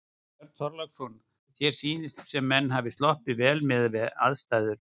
Björn Þorláksson: Þér sýnist sem menn hafi sloppið vel miðað við aðstæður?